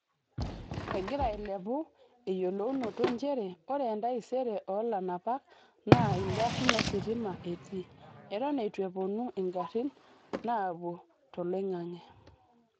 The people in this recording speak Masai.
Egira ailepu eyolounoto njere ore entaisere oo lanapak naa igarin ositima etii - eton eitu eponu igarin naapuo toloingange.